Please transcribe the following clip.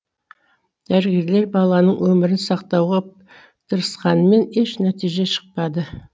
дәрігерлер баланың өмірін сақтауға тырысқанымен еш нәтиже шықпады